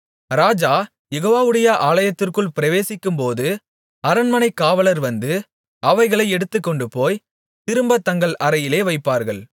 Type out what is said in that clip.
ராஜா யெகோவாவுடைய ஆலயத்திற்குள் பிரவேசிக்கும்போது அரண்மனைக் காவலர் வந்து அவைகளை எடுத்துக்கொண்டுபோய் திரும்பத் தங்கள் அறையிலே வைப்பார்கள்